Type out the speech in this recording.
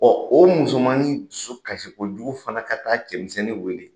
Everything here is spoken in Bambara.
o musomanin dusu kasikojugu fana ka taa cɛmisɛnnin wele